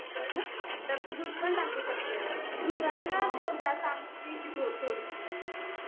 तर तू दूध पण टाकू शकतेस. दुधाने ना चव चांगली येते थोडीशी.